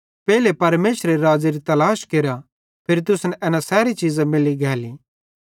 पेइले परमेशरेरे राज़्ज़ेरे तलाश केरा फिरी तुसन एना सैरी चीज़ां मैल्ली गैली